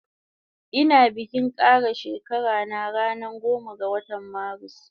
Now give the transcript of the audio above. Ina bikin kara shekara na ranan goma ga watan marus